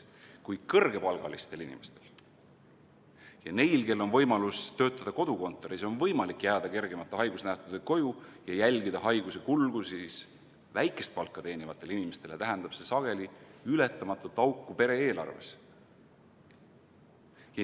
Kui kõrgepalgalistel inimestel ja neil, kel on võimalus töötada kodukontoris, on võimalik jääda kergemate haigusnähtudega koju ja jälgida haiguse kulgu, siis väikest palka teenivatele inimestele tähendab see sageli ületamatut auku pere eelarves.